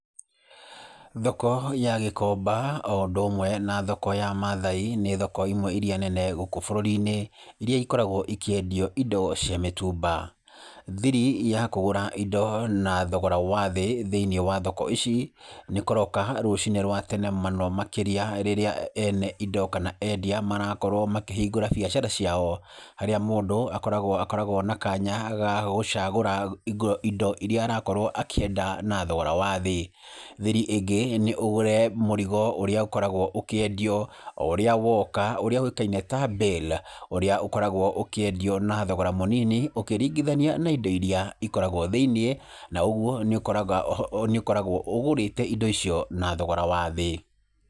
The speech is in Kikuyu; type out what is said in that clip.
Thoko ya Gĩkomba o ũndũ umwe na thoko ya Maathai nĩ thoko imwe iria nene gũkũ bũrũri-inĩ iria ikoragwo ikĩendio indo cia mĩtumba. Thiri ya kũgũra indo na thogora wa thĩ thĩinĩ wa thoko ici nĩ kũroka rũciinĩ rwa tene mũno makĩria rĩrĩa ene indo kana endia marakorwo makĩhingũra biacara ciao harĩa mũndũ akoragwo na kanya ga gũcagũra indo iria arakorwo akĩenda na thogora wa thĩ. Thiri ĩngĩ nĩ ũgũre mũrigo ũrĩa ũkoragwo ũkĩendio ũrĩa woka, ũrĩa ũĩkaine ta bale , ũrĩa ũkoragwo ũkĩendio na thogora mũnini ũkĩringithania na indo iria ikoragwo thĩiniĩ, na ũguo nĩ ũkoragwo ũgũrĩte indo icio na thogora wa thĩ.